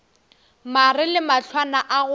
mare le mahlwana a go